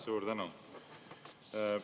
Suur tänu!